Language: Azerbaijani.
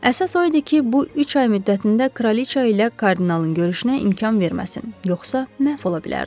Əsas o idi ki, bu üç ay müddətində kraliça ilə kardinalın görüşünə imkan verməsin, yoxsa məhv ola bilərdi.